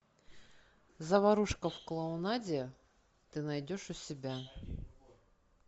заварушка в клоунаде ты найдешь у себя